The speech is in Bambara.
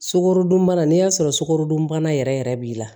Sukarodunbana n'i y'a sɔrɔ sukarodunbana yɛrɛ yɛrɛ yɛrɛ b'i la